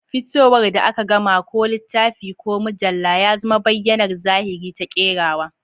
Fitowar da aka gama, ko littafi ko mujalla, ya zama bayyanar zahiri ta kerawa.